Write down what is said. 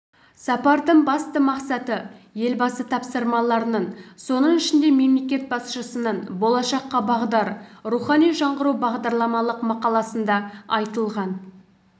сапардың басты мақсаты елбасы тапсырмаларының соның ішінде мемлекет басшысының болашаққа бағдар рухани жаңғыру бағдарламалық мақаласында айтылған